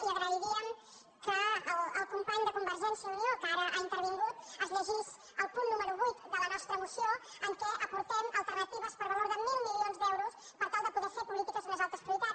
i agrairíem que el company de convergència i unió que ara ha intervingut es llegís el punt número vuit de la nostra moció en què aportem alternatives per valor de mil milions d’euros per tal de poder fer polítiques amb unes altres prioritats